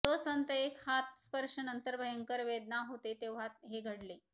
तो संत एक हात स्पर्श नंतर भयंकर वेदना होते तेव्हा हे घडले